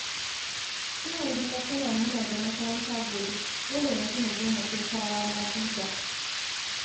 Sai yanzu na tuna muna da makaranta gobe, dole yanzu na je na kai kayana guga